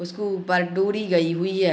उसको ऊपर डोरी गई हुई है।